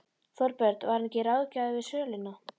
Þorbjörn: Var hann ekki ráðgjafi við söluna?